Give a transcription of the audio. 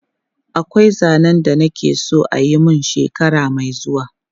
Akwai zanen da na ke so a yi mun shekara mai zuwa.